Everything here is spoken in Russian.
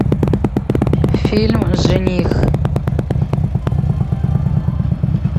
фильм жених